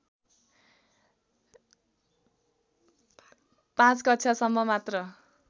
५ कक्षासम्म मात्र